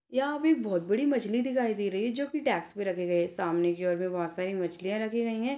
यहाँ पे बहुत बड़ी मछली दिखाई दे रही है जो की टैब्स में रखे गए हैं सामने की ओर बहुत सारी मछली रखी गई हैं।